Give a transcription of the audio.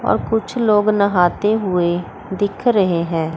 और कुछ लोग नहाते हुए दिख रहे हैं।